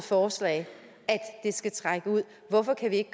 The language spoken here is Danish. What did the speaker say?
forslag skal trække ud hvorfor kan vi ikke